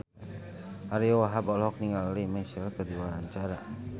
Ariyo Wahab olohok ningali Lea Michele keur diwawancara